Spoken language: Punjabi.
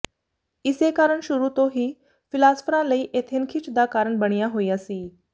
ਇਸੇ ਕਾਰਨ ਸ਼ੁਰੂ ਤੋਂ ਹੀ ਫਿਲਾਸਫਰਾਂ ਲਈ ਏਥਨ ਖਿੱਚ ਦਾ ਕਾਰਨ ਬਣਿਆ ਹੋਇਆ ਸੀ